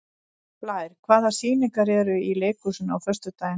Blær, hvaða sýningar eru í leikhúsinu á föstudaginn?